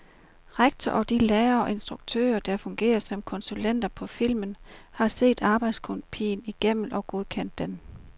Rektor og de lærere og instruktører, der fungerer som konsulenter på filmen, har set arbejdskopien igennem og godkendt den.